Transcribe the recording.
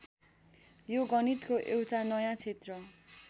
यो गणितको एउटा नयाँ क्षेत्र